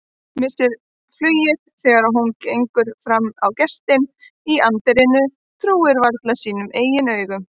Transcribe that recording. Missir flugið þegar hún gengur fram á gestinn í anddyrinu, trúir varla sínum eigin augum.